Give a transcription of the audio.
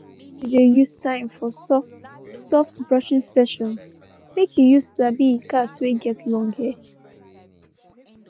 he been de use time for soft soft brushing sessions make he use sabi he cat wey get long hair.